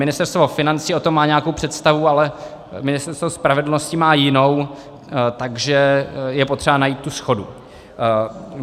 Ministerstvo financí o tom má nějakou představu, ale Ministerstvo spravedlnosti má jinou, takže je potřeba najít tu shodu.